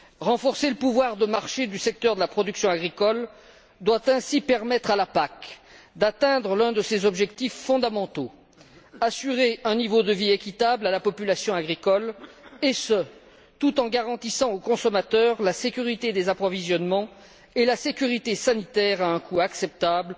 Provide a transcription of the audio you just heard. Renforcer le pouvoir de marché du secteur de la production agricole doit ainsi permettre à la PAC d'atteindre l'un de ses objectifs fondamentaux assurer un niveau de vie équitable à la population agricole, et ce, tout en garantissant aux consommateurs la sécurité des approvisionnements et la sécurité sanitaire à un coût acceptable,